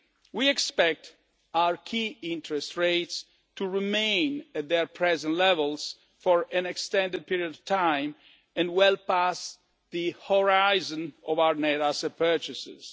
We expect our key interest rates to remain at their present levels for an extended period of time, and well past the horizon of our net asset purchases.